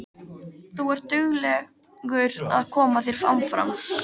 Þú ert duglegur að koma þér áfram.